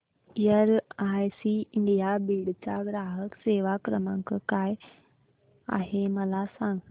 LIC India Beed चा ग्राहक सेवा क्रमांक काय आहे मला सांग